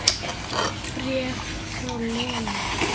Bréf frá Lenu.